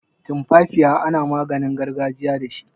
Tumfafiya ana maginin gargajiya dashi.